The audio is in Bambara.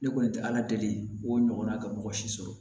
Ne kɔni tɛ ala deli o ɲɔgɔnna ka mɔgɔ si sɔrɔ